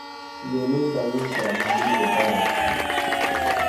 Sidee loo daweyn karaa hunguriga Barrett?